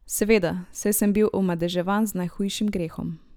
Seveda, saj sem bil omadeževan z najhujšim grehom.